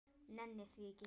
Nenni því ekki.